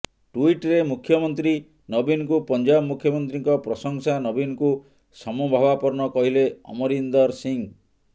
ଟ୍ବିଟରେ ମୁଖ୍ୟମନ୍ତ୍ରୀ ନବୀନଙ୍କୁ ପଞ୍ଜାବ ମୁଖ୍ୟମନ୍ତ୍ରୀଙ୍କ ପ୍ରଶଂସା ନବୀନଙ୍କୁ ସମଭାବାପନ୍ନ କହିଲେ ଅମରିନ୍ଦର ସିଂହ